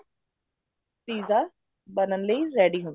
pizza ਬਣਨ ਲਈ ready ਹੁੰਦਾ